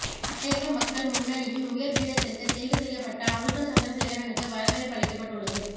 மலையக மக்கள் முன்னணியின் உயர் பீடத்திற்கு தெரிவு செய்யப்பட்ட அனுசா சந்திரசேகரனுக்கு வரவேற்பளிக்கப்பட்டுள்ளது